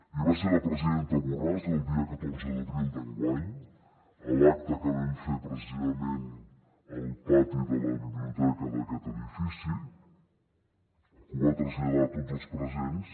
i va ser la presidenta borràs el dia catorze d’abril d’enguany a l’acte que vam fer precisament al pati de la biblioteca d’aquest edifici que ho va traslladar a tots els presents